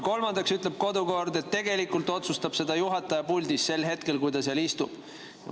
Kolmandaks ütleb kodukord, et tegelikult otsustab seda juhataja, kes puldis sel hetkel istub.